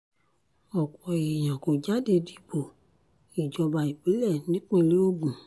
ọ̀pọ̀ èèyàn kò jáde dìbò ìjọba ìbílẹ̀ nípínlẹ̀ ogun